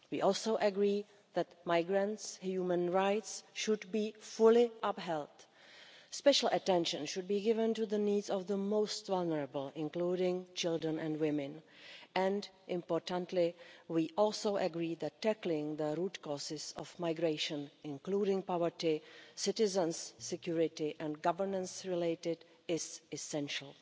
We also agree that migrants' human rights should be fully upheld. Special attention should be given to the needs of the most vulnerable, including children and women, and, importantly, we also agreed that tackling the root causes of migration, including poverty, citizens' security and governance-related, is essential.